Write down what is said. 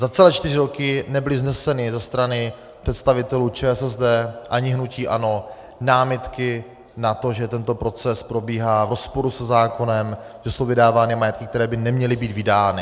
Za celé čtyři roky nebyly vzneseny ze strany představitelů ČSSD ani hnutí ANO námitky na to, že tento proces probíhá v rozporu se zákonem, že jsou vydávány majetky, které by neměly být vydány.